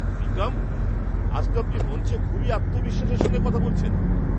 বিক্রম! আজ তো আপনি মঞ্চে খুবই আত্মবিশ্বাসের সঙ্গে কথা বলেছেন!